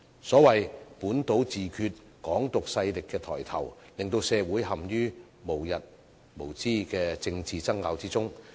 所謂的本土自決、"港獨"勢力抬頭，令社會陷於無日無之的政治爭拗之中。